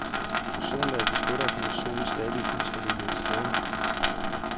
Ozonlaget beskytter os mod solens skadelige ultraviolette stråler.